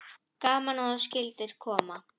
Gaman að þú skyldir koma.